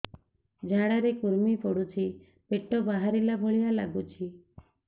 ଝାଡା ରେ କୁର୍ମି ପଡୁଛି ପେଟ ବାହାରିଲା ଭଳିଆ ଲାଗୁଚି